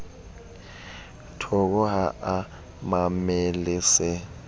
toko ha o mamele se